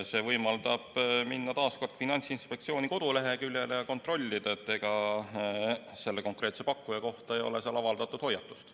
See võimaldab minna taas kord Finantsinspektsiooni koduleheküljele ja kontrollida, kas selle konkreetse pakkuja kohta ei ole seal avaldatud hoiatust.